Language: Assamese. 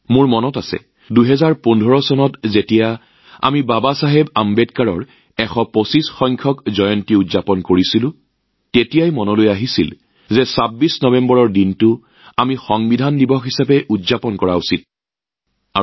মোৰ মনত আছে ২০১৫ চনত যেতিয়া আমি বাবাচাহেব আম্বেদকাৰৰ ১২৫সংখ্যক জন্ম বাৰ্ষিকী উদযাপন কৰিছিলো তেতিয়া ২৬ নৱেম্বৰ দিনটোক সংবিধান দিৱস হিচাপে পালন কৰাৰ এটা চিন্তাই মনত দোলা দিছিল